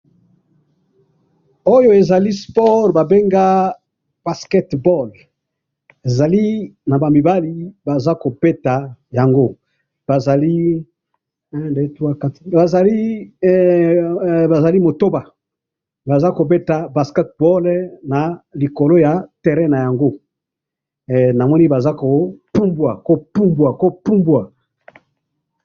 oyo ezali sport babenga basket ball ezali naba mibali baza kobeta yango bazali 1,2,3,4 bazali hee botoba baza kobeta basket ball na likolo yango namoni bazali ko poumbwa ko poumbwa kopoumbwa.